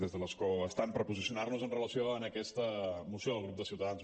des de l’escó estant per posicionar nos amb relació a aquesta moció del grup de ciutadans